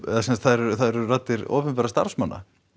það eru það eru raddir opinberra starfsmanna